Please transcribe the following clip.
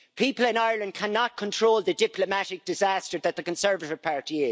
People in Ireland cannot control the diplomatic disaster that is the Conservative Party.